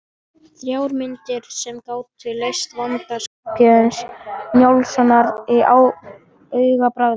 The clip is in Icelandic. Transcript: Þrjár myndir sem gátu leyst vanda Skarphéðins Njálssonar á augabragði.